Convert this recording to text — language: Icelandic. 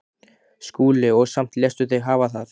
SKÚLI: Og samt léstu þig hafa það?